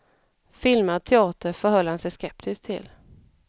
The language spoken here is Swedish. Filmad teater förhöll han sig skeptisk till.